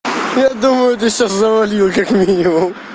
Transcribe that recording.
я думаю ты всё завалил как минимум